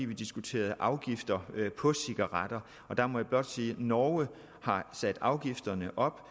vi diskuterede afgifter på cigaretter og der må jeg blot sige at norge har sat afgifterne op